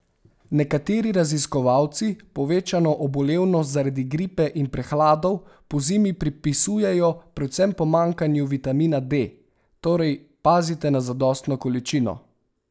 Nekateri raziskovalci povečano obolevnost zaradi gripe in prehladov pozimi pripisujejo predvsem pomanjkanju vitamina D, torej, pazite na zadostno količino!